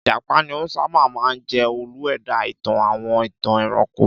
Ìjàpá ni ó sábà máa ń jẹ́ olú-ẹ̀dá ìtàn àwọn ìtàn ẹranko.